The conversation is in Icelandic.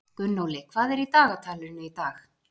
Gunnóli, hvað er í dagatalinu í dag?